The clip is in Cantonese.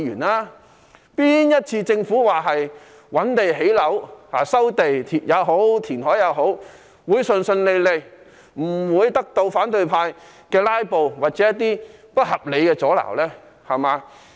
哪一次政府說要覓地建屋，不管是收地或填海，是可以順順利利進行，不被反對派"拉布"或不合理的阻撓呢？